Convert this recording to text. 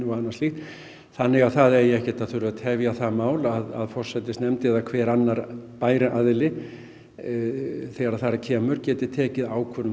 og annað slíkt þannig að það eigi ekkert að þurfa að tefja það mál að forsætisnefnd eða hver annar bær aðili þegar þar að kemur geti tekið ákvörðun um